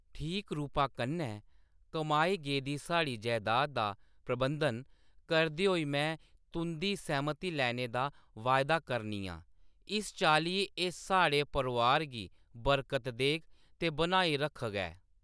ठीक रूपा कन्नै कमाई गेदी साढ़ी जैदाद दा प्रबंधन करदे होई में तुंʼदी सैह्‌‌मती लैने दा वायदा करनी आं, इस चाल्ली एह्‌‌ साढ़े परोआर गी बरकत देग ते बनाई रक्खग ऐ।